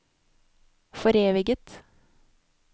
foreviget